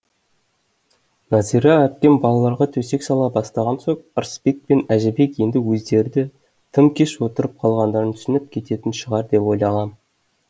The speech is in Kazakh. нәзира әпкем балаларға төсек сала бастаған соң ырысбек пен әжібек енді өздері де тым кеш отырып қалғандарын түсініп кететін шығар деп ойлағам